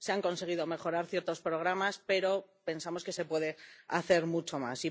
Se han conseguido mejorar ciertos programas, pero pensamos que se puede hacer mucho más.